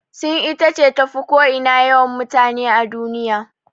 Sin ita ce tafi ko ina yawan mutane a duniya.